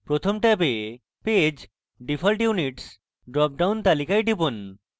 প্রথম ট্যাবে page default units drop down তালিকায় টিপুন